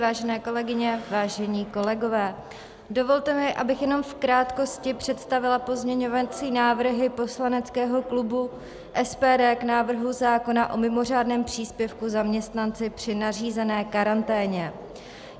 Vážené kolegyně, vážení kolegové, dovolte mi, abych jenom v krátkosti představila pozměňovací návrhy poslaneckého klubu SPD k návrhu zákona o mimořádném příspěvku zaměstnanci při nařízené karanténě.